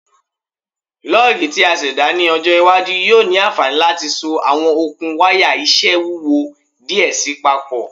Lugs ti a ṣẹda ni ọjọ iwaju yoo ni anfani lati so awọn okun waya iṣẹ wuwo diẹ sii papọ